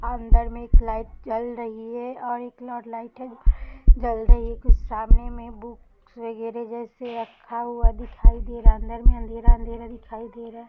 और अंदर में एक लाइट जल रही है और एक लाइट है जल रही है कुछ सामने में बुक्स वगेरा जैसे रखा हुआ दिखाई दे रहा है अंदर में अँधेरा-अँधेरा दिखाई दे रहा --